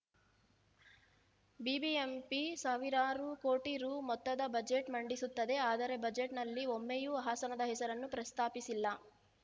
BBMP ಸಾವಿರಾರು ಕೋಟಿ ರು ಮೊತ್ತದ ಬಜೆಟ್‌ ಮಂಡಿಸುತ್ತದೆ ಆದರೆ ಬಜೆಟ್‌ನಲ್ಲಿ ಒಮ್ಮೆಯೂ ಹಾಸನದ ಹೆಸರನ್ನು ಪ್ರಸ್ತಾಪಿಸಿಲ್ಲ